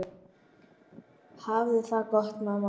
Hafðu það gott mamma mín.